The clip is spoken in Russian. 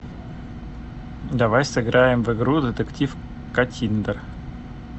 давай сыграем в игру детектив каттиндер